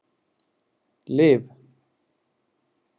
Liv